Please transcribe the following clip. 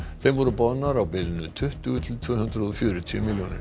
þeim voru boðnar á bilinu tuttugu til tvö hundruð og fjörutíu milljónir